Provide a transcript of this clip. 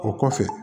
O kɔfɛ